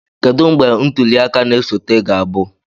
Kedu mgbe ntuli aka na-esote ga-abụ?